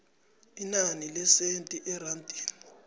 inani lesenthi erandini